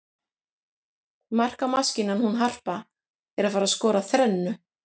Markamaskínan hún Harpa er að fara skora þrennu.